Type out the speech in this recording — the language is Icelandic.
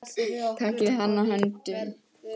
Takið hann höndum.